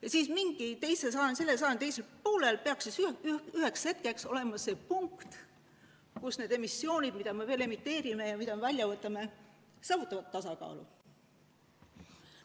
Ja millalgi selle sajandi teisel poolel peaks üheks hetkeks saavutatud olema see, et need kogused, mida me veel emiteerime, ja need, mida me välja võtame, saavutavad tasakaalu.